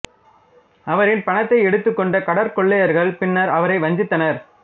அவரின் பணத்தை எடுத்து கொண்ட கடற்கொள்ளையர்கள் பின்னர் அவரை வஞ்சித்தனர்